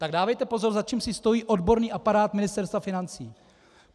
Tak dávejte pozor, za čím si stojí odborný aparát Ministerstva financí.